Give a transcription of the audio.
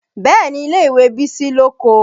Bẹ́ẹ̀ni ilé ìwé Bísí lóko